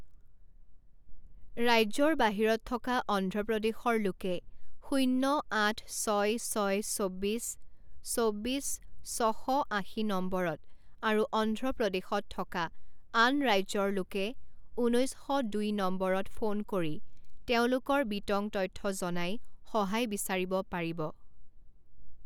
ৰাজ্যৰ বাহিৰত থকা অন্ধ্ৰ প্ৰদেশৰ লোকে শূণ্য আঠ ছয় ছয় চৌব্বিছ চৌব্বিছ ছশ আশী নম্বৰত আৰু অন্ধ্ৰ প্ৰদেশত থকা আন ৰাজ্যৰ লোকে ঊনৈছ শ দুই নম্বৰত ফোন কৰি তেওঁলোকৰ বিত্ং তথ্য জনাই সহায় বিচাৰিব পাৰিব।